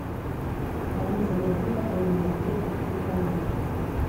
алиса найди какой нибудь детский телеканал